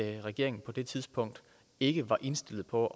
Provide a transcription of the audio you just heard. regeringen på det tidspunkt ikke var indstillet på